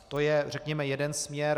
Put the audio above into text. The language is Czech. To je řekněme jeden směr.